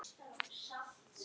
Lengra norður.